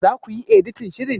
Za ku yi editan shirin?